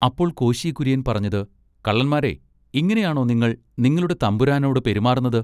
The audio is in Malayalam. അപ്പോൾ കോശി കുര്യൻ പറഞ്ഞത് കള്ളന്മാരെ ഇങ്ങിനെയാണൊ നിങ്ങൾ നിങ്ങളുടെ തമ്പുരാനോട് പെരുമാറുന്നത്.